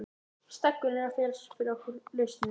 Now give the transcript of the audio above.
Steggurinn er að fela fyrir okkur lausnina.